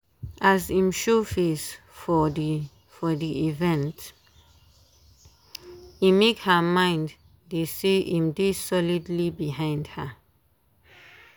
as im show face for the for the evente make her mind dey say im dey solidly behind her